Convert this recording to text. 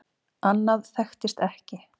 Annað þekktist ekki.